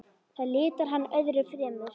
Það litar hann öðru fremur.